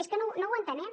és que no ho entenem